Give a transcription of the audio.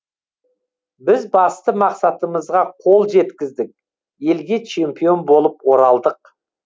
біз басты мақсатымызға қол жеткіздік елге чемпион болып оралдық